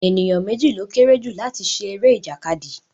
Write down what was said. Ènìyàn méjì ló kéré jù láti ṣe eré ìjàkadì